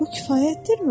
Bu kifayətdirmi?